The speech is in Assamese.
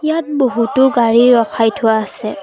ইয়াত বহুতো গাড়ী ৰখাই থোৱা আছে।